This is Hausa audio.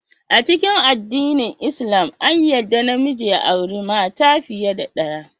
A cikin addinin lslam, an yarda namiji ya auri mata fiye da daya.